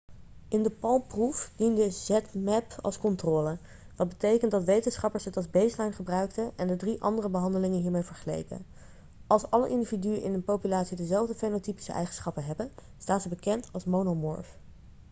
in de palm-proef diende zmapp als controle wat betekent dat wetenschappers het als baseline gebruikten en de drie andere behandelingen hiermee vergeleken.als alle individuen in een populatie dezelfde fenotypische eigenschappen hebben staan ze bekend als monomorf